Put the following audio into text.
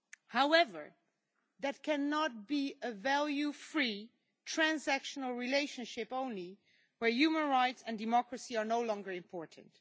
However, that cannot be a value free transactional relationship only, where human rights and democracy are no longer important.